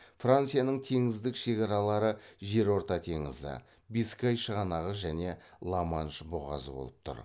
францияның теңіздік шекаралары жерорта теңізі бискай шығанағы және ла манш бұғазы болып тұр